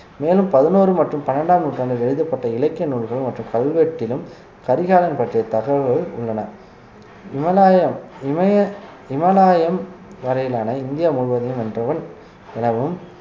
மேலும் பதினோரு மற்றும் பன்னிரண்டாம் நூற்றாண்டில் எழுதப்பட்ட இலக்கிய நூல்கள் மற்றும் கல்வெட்டிலும் கரிகாலன் பற்றிய தகவல்கள் உள்ளன இமலாயம் இமய இமாலயம் வரையிலான இந்தியா முழுவதையும் வென்றவன் எனவும்